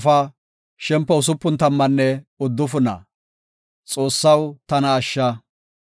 Haathi taw qoodhe gakida gisho, abeeti Xoossaw, tana ashsha.